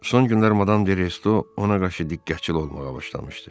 Son günlər Madam de Resto ona qarşı diqqətçil olmağa başlamışdı.